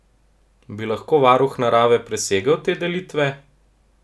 Bi lahko varuh narave presegel te delitve?